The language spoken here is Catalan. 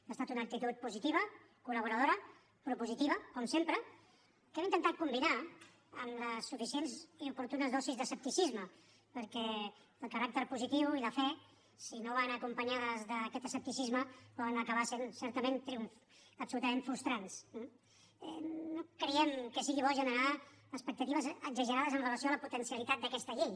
ha estat una actitud positiva col·laboradora propositiva com sempre que hem intentat combinar amb les suficients i oportunes dosis d’escepticisme perquè el caràcter positiu i la fe si no van acompanyades d’aquest escepticisme poden acabar sent certament triomfs absolutament frustrants eh no creiem que sigui bo generar expectatives exagerades amb relació a la potencialitat d’aquesta llei